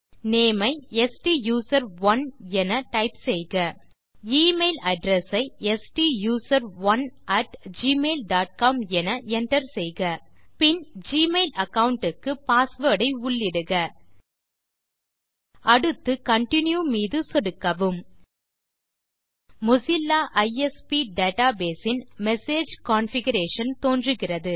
name ஐ ஸ்டூசரோன் என Enter செய்க எமெயில் அட்ரெஸ் ஐ ஸ்டூசரோன் அட் ஜிமெயில் டாட் காம் என enter செய்க பின் ஜிமெயில் அகாவுண்ட் க்கு பாஸ்வேர்ட் ஐ உள்ளிடுக அடுத்து கன்டின்யூ மீது சொடுக்கவும் மொசில்லா ஐஎஸ்பி டேட்டாபேஸ் இன் மெசேஜ் கான்ஃபிகரேஷன் தோன்றுகிறது